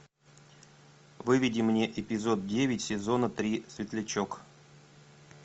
выведи мне эпизод девять сезона три светлячок